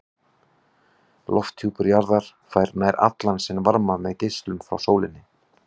Lofthjúpur jarðar fær nær allan sinn varma með geislun frá sólinni.